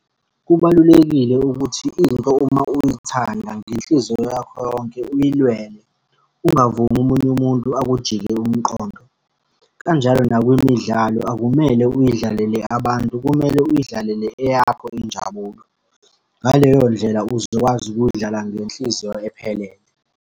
Kubalulekile ukuthi into uma uyithanda ngenhliziyo yakho yonke uyilwele, ungavumi omunye umuntu akujike umqondo. Kanjalo nakwimidlalo akumele uyidlalele abantu kumele uyidlalele eyakho injabulo. Ngaleyo ndlela uzokwazi ukuyidlala ngenhliziyo ephelele.